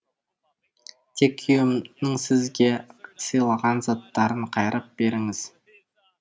тек күйеуімнің сізге сыйлаған заттарын қайырып беріңіз